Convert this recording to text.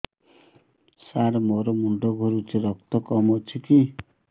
ସାର ମୋର ମୁଣ୍ଡ ଘୁରୁଛି ରକ୍ତ କମ ଅଛି କି